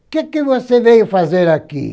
O que que você veio fazer aqui?